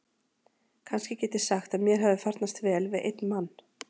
Kannski get ég sagt að mér hafi farnast vel við einn mann.